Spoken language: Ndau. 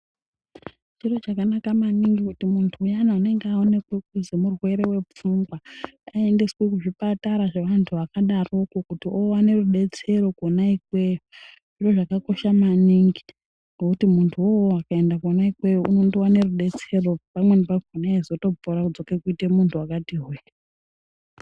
Chiro chakanaka maningi kuti muntu uyani unenge aonekwa kuti murwere wepfungwa aendeswe kuzvipatara zvevantu vakadaroko kuti oone rudetsero kwona ikweyo, zviro zvakakosha maningi ngokuti munhuwo uwowo akaenda kwona ikweyo unondoone rudetsero pamweni pakhona eizotopora odzoka kuita muntu wakati hwee.